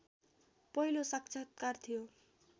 पहिलो साक्षात्कार थियो